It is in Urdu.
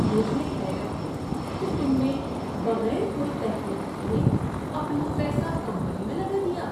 مجھے حیرت ہے کہ تم نے بغیر کوئی تحقیق کیے اپنا پیسہ کمپنی میں لگا دیا۔